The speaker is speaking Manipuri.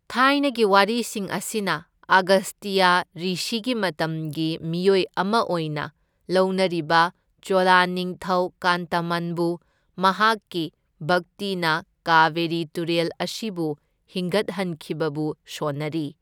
ꯊꯥꯏꯅꯒꯤ ꯋꯥꯔꯤꯁꯤꯡ ꯑꯁꯤꯅ ꯑꯒꯁꯇ꯭ꯌ ꯔꯤꯁꯤꯒꯤ ꯃꯇꯝꯒꯤ ꯃꯤꯑꯣꯏ ꯑꯃ ꯑꯣꯏꯅ ꯂꯧꯅꯔꯤꯕ ꯆꯣꯂ ꯅꯤꯡꯊꯧ ꯀꯥꯟꯇꯃꯟꯕꯨ ꯃꯍꯥꯛꯀꯤ ꯚꯛꯇꯤꯅ ꯀꯥꯕꯦꯔꯤ ꯇꯨꯔꯦꯜ ꯑꯁꯤꯕꯨ ꯍꯤꯡꯒꯠꯍꯟꯈꯤꯕꯕꯨ ꯁꯣꯟꯅꯔꯤ꯫